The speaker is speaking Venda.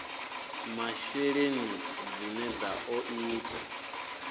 masheleni dzine dza ḓo ita